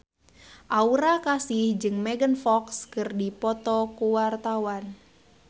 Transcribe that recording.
Aura Kasih jeung Megan Fox keur dipoto ku wartawan